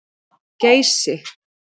Geysi